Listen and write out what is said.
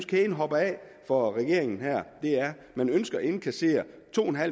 kæden hopper af for regeringen man ønsker at indkassere to